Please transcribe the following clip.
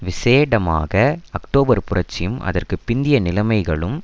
விசேடமாக அக்டோபர் புரட்சியும் அதற்கு பிந்திய நிலைமைகளும்